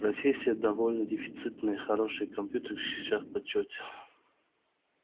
профессия довольно дефицитная и хорошие компьютерщики сейчас в почёте